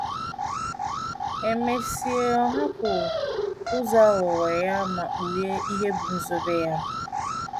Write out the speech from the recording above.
E mesịa, ọ hapụ ụzọ aghụghọ ya ma kpughee ihe bụ́ nzube ya.